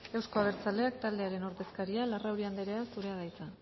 euzko abertzaleak taldearen ordezkaria larrauri andrea zurea da hitza